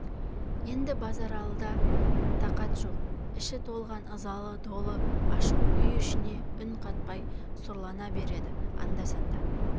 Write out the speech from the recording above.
енді базаралыда тақат жоқ іші толған ызалы долы ашу үй ішіне үн қатпай сұрлана береді анда-санда